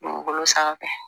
Bolo sanfɛ